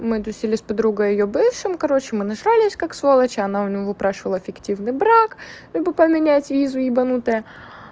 мы тусили с подругой и её бывшим короче мы нажрались как сволочи она у него прошёл а фиктивный брак ибо поменять визу ебанутая